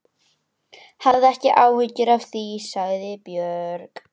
Hafðu ekki áhyggjur af því, sagði Björg.